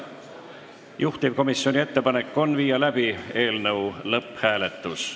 Juhtivkomisjoni ettepanek on viia läbi eelnõu lõpphääletus.